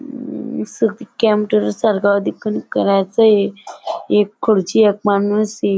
computer सारखा आधी पण करायचं एक खुर्ची एक माणूस --